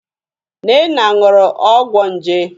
Nnenna ñụrụ ọgwọ nje.